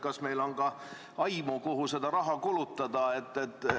Kas meil on ka aimu, kuhu seda raha kulutada?